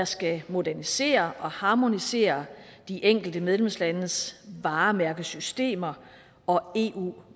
skal modernisere og harmonisere de enkelte medlemslandes varemærkesystemer og eu